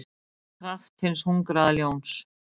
kraft hins hungraða ljóns.